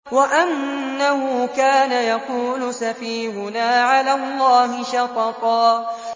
وَأَنَّهُ كَانَ يَقُولُ سَفِيهُنَا عَلَى اللَّهِ شَطَطًا